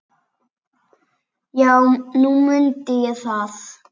Já, nú mundi ég það.